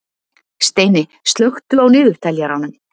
Steini, slökktu á niðurteljaranum.